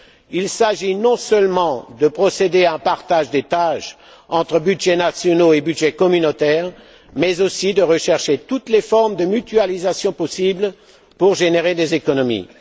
Il s'agit non seulement de procéder à un partage des tâches entre budgets nationaux et budgets communautaires, mais aussi de rechercher toutes les formes de mutualisation possible pour générer des économies.